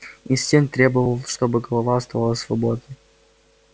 инстинкт требовал чтобы голова оставалась свободной